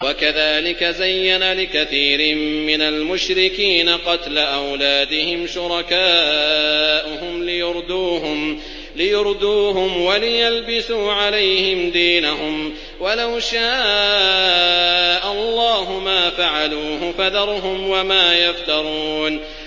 وَكَذَٰلِكَ زَيَّنَ لِكَثِيرٍ مِّنَ الْمُشْرِكِينَ قَتْلَ أَوْلَادِهِمْ شُرَكَاؤُهُمْ لِيُرْدُوهُمْ وَلِيَلْبِسُوا عَلَيْهِمْ دِينَهُمْ ۖ وَلَوْ شَاءَ اللَّهُ مَا فَعَلُوهُ ۖ فَذَرْهُمْ وَمَا يَفْتَرُونَ